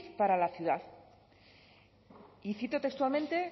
para la ciudad y cito textualmente